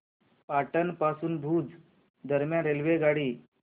पाटण पासून भुज दरम्यान रेल्वेगाडी